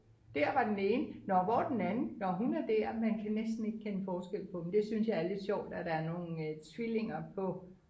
der var den ene nå hvor er den anden nå hun er der man kan næsten ikke kende forskel på dem det synes jeg er lidt sjovt at der er nogle tvillinger på